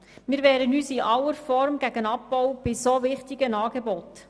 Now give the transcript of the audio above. Wir wehren uns in aller Form gegen den Abbau bei dermassen wichtigen Angeboten.